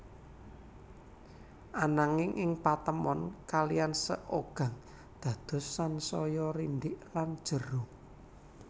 Ananging ing patemon kalihan Seogang dados sansaya rindhik lan jero